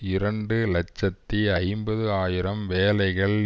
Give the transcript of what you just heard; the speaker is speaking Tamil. இரண்டு இலட்சத்தி ஐம்பது ஆயிரம் வேலைகள்